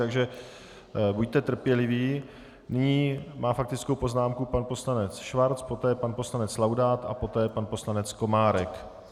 Takže buďte trpěliví, nyní má faktickou poznámku pan poslanec Schwarz, poté pan poslanec Laudát a poté pan poslanec Komárek.